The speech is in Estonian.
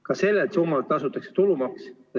Ka sellelt summalt tasutakse tulumaks.